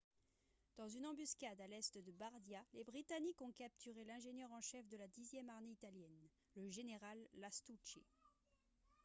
dans une embuscade à l'est de bardia les britanniques ont capturé l'ingénieur en chef de la dixième armée italienne le général lastucci